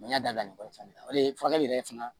n y'a da ɲɔgɔn na paseke furakɛli yɛrɛ fana